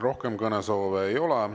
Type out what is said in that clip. Rohkem kõnesoove ei ole.